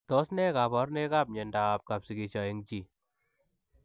Tos nee kabarunoik ap miondoop kapsigisio eng chii ?